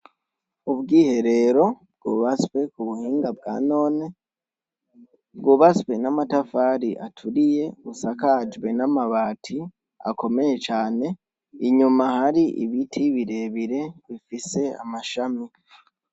Ubwiherero bwubatswe k'ubuhinga bwa none, bwubatswe n'amatafari aturiye asakajwe n'amabati akomeye cane, inyuma hari ibiti birebire bifise amashami.